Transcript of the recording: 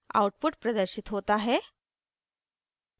output प्रदर्शित होता है